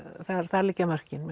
þar liggja mörkin